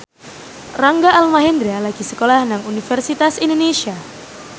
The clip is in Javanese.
Rangga Almahendra lagi sekolah nang Universitas Indonesia